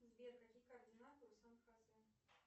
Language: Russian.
сбер какие координаты у сан хосе